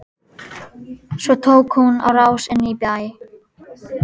Svo tók hún á rás inn í bæ.